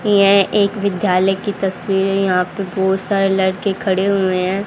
यह एक विद्यालय की तस्वीरें है यहां पे बहुत सारे लड़के खड़े हुए हैं।